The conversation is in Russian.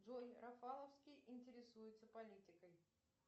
джой рафаловский интересуется политикой